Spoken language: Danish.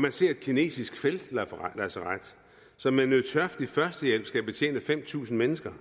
man ser et kinesisk feltlazaret som med nødtørftig førstehjælp skal betjene fem tusind mennesker